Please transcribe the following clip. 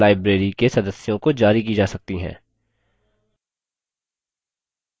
और पुस्तकें library के सदस्यों को जारी की जा सकती हैं